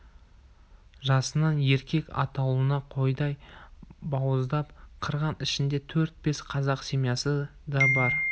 жасынан еркек атаулыны қойдай бауыздап қырған ішінде төрт-бес қазақ семьясы да бар